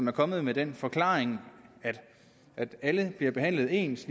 er kommet med den forklaring at alle bliver behandlet ens